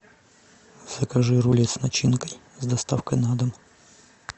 закажи рулет с начинкой с доставкой на дом